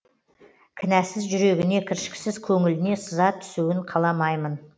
кінәсіз жүрегіне кіршіксіз көңіліне сызат түсуін қаламаймын